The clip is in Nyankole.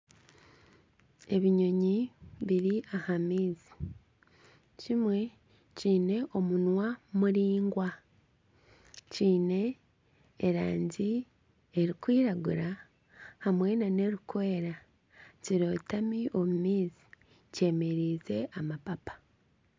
Ebinyonyi biri aha maizi. Kimwe kiine omunwa muringwa kiine erangi erikwiragura hamwe nana erikwera. Kirotami omu maizi, kyemereize amapapa.